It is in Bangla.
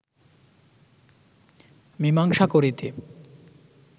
মীমাংসা করিতে